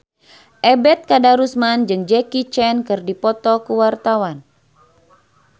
Ebet Kadarusman jeung Jackie Chan keur dipoto ku wartawan